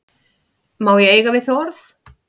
Má ég eiga við þig orð?